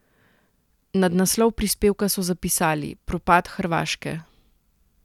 Nad naslov prispevka so zapisali: "Propad Hrvaške".